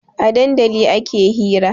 A dandali ake hira